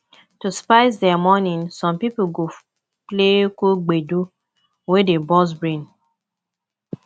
to spice their morning some pipo go play cool gbedu wey dey burst brain